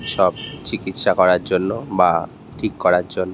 সব চিকিসৎসা করার জন্য বা ঠিক করার জন্য ।